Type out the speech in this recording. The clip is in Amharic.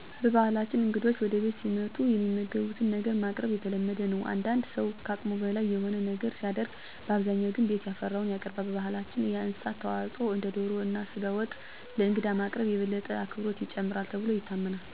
በባህላችን እንግዶች ወደ ቤታችን ሲመጡ የሚመገቡትን ነገር ማቅረብ የተለመደ ነው። አንዳንድ ሠው ከአቅሙ በላይ የሆነ ነገር ሲያደርግ በአብዛኛው ግን ቤት ያፈራውን ያቀርባል። በባህላችን የእንስሳት ተዋፅዖ እንደ ዶሮ እና ስጋ ወጥ ለእንግዳ ማቅረብ የበለጠ አክብሮትን ይጨምራል ተብሎ ይታመናል። ይህ እሳቤ ልክ ነው ብዬ ባላምንም እንግዳ ወደ ቤታችን ሲመጣ ግን ያለንን በአቅማችን ምግብ መስጠጥ መቀጠል ያለበት ባህል ነው የሚል ሀሳብ አለኝ።